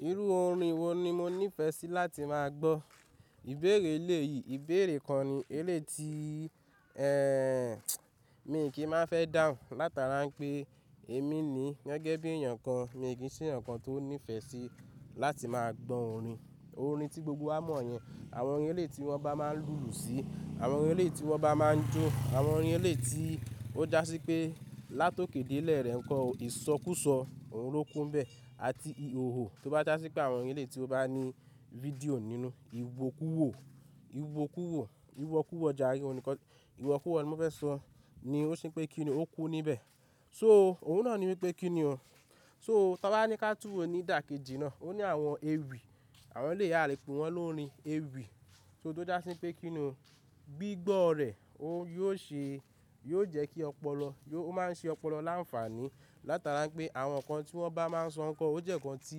Irú orin wo ni mo nífẹsí láti máa gbọ́? Ìbéèrè eléyìí, ìbéèrè kan ni, eléeti, ẹ́, mi kì í má fẹ́ dáhùn látara ńpé èmi ni gẹ́gẹ́ bí èèyàn kan, mi kì í ṣe èèyàn kan tó nífẹ́ sí láti máa gbọ orin, orin tí gbogbo wá mọ̀ yẹn. Àwọn orin eléeti tí wọ́n bá máa ń lùlù sí, àwọn orin eléeti wọ́n bá máa ń jó, àwọn orin eléeti ó jásí pé látòké délẹ̀ rẹ ǹkọ̀ o ìsọkúsọ òun ló kún bẹ́ẹ̀ àti ìhòhò tó bá jásí pé àwọn orin eléeti ó bá ní fídíò nínú, ìwòkuwò, ìwòkuwò, ìwọ̀kuwọ̀ jàre, òun nìkan, ìwọ̀kuwọ̀ ni mo fẹ́ sọ, ni ó ṣe pé kíni ó kún níbẹ̀. So òun náà ni wípé kíni o. So tá bá wá ní ká túwo nídàkejì náà, ó ní àwọn ewì, àwọn eléèyí a lè pè wọ́n lórin ewì. So tó jásí pé kíni o, gbígbọ́ rẹ̀, óun yóò ṣe, yóò jẹ́ kí ọpọlọ, ó máa ń ṣe ọpọlọ láǹfààní látara pé àwọn ǹkan tí wọ́n bá máa ń sọ ǹkọ́ o, ó jẹ́ ǹkan tí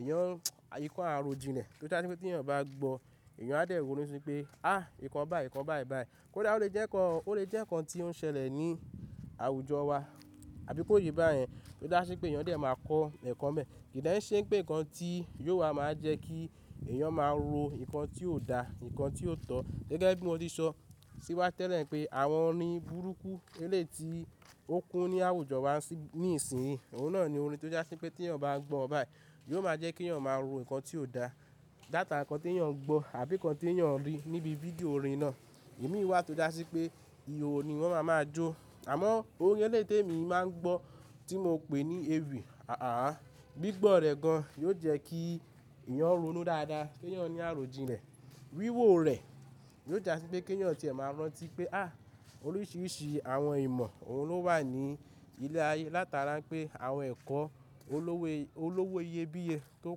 èyàn, ǹkan àròjìnlẹ̀ tí ó jásí pé tí èyàn bá gbọ́ èyàn á dẹ́ ronú síi pé, áàh! Ìkan báyìí, ìkan báyìí báyìí. Kódà ó lè jẹ́ ǹkan o, ó lè jẹ́ ǹkan tí ó ń ṣẹlẹ̀ ní àwùjọ wa, àbí kó yí bá yẹn, tí ó jásí pé èyàn dẹ̀ máa kọ ẹ̀kọ́ ńbẹ̀. Kì dẹ́ ńṣe pé ǹkan tí yóò wá maá jẹ́ kí èyàn máa ro ǹkan tí ò da, ǹkan tí ò tọ́. Gẹ́gẹ́ bí mo ti sọ sí wá tẹ́lẹ̀ pé àwọn orin burúkú eléeti ó kún ní àwùjọ wa ní ìsinyìí, òun náà ni orin tó jásí pé tí èyàn bá gbọ́ ọ́ báyìí yóò máa jẹ́ kí èyàn máa ro ǹkan tí ò da. Látara ǹkan tí èyàn ń gbọ́ àbí ǹkan tí èyàn ń rí níbi fídíò orin náà. Èmi wà tó jásí pé ìhòhò ni wọ́n máa máa jó. Àmọ́ orin eléyìí tèmi máa ń gbọ́ tí mo pè ní ewì, ààh! Gbígbọ́ rẹ̀ gan yóò jẹ́ kí èyàn ronú dáadáa, kí èyàn ní àròjinlẹ̀. Wíwò rẹ̀ yóò jásí pé kí èyàn ti ẹ máa rántí pé, áàh! Oríṣiríṣi àwọn ìmọ̀ òun ló wà ní ilé ayé látara pé àwọn ẹ̀kọ́ olówó, olówó iyebíye tó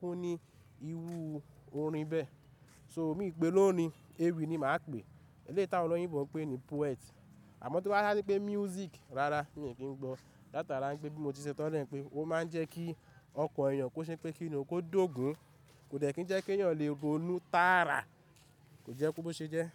kún ní irú orin bẹ́ẹ̀. So miì pè é lórin ewì ni màá pè é, eléétì àwọn olóyìnbo ń pè ní poet. Àmọ́ tó jásí pé music, rárá, mi ò kí ń gbọ́. Látara rá ń pé bí mo ti ṣẹ tọ́lẹ̀ ńpé ó máa ń jẹ́ kí ọkàn èyàn kó ṣe pé kíni ó kó dógun, kò dẹ̀ kí ń jẹ́ kí èyàn lè ronú tára, kò jẹ́ kó bó ṣe jẹ́.